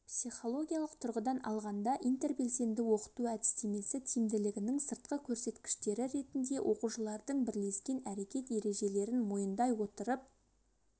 психологиялық тұрғыдан алғанда интербелсенді оқыту әдістемесі тиімділігінің сыртқы көрсеткіштері ретінде оқушылардың бірлескен әрекет ережелерін мойындай отырып